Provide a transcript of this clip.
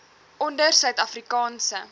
onder suid afrikaanse